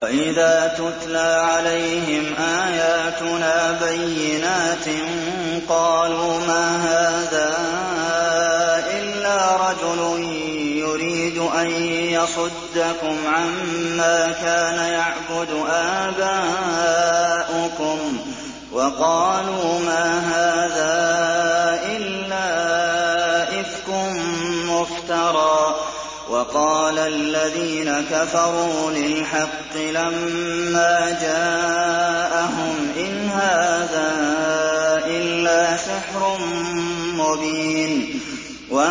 وَإِذَا تُتْلَىٰ عَلَيْهِمْ آيَاتُنَا بَيِّنَاتٍ قَالُوا مَا هَٰذَا إِلَّا رَجُلٌ يُرِيدُ أَن يَصُدَّكُمْ عَمَّا كَانَ يَعْبُدُ آبَاؤُكُمْ وَقَالُوا مَا هَٰذَا إِلَّا إِفْكٌ مُّفْتَرًى ۚ وَقَالَ الَّذِينَ كَفَرُوا لِلْحَقِّ لَمَّا جَاءَهُمْ إِنْ هَٰذَا إِلَّا سِحْرٌ مُّبِينٌ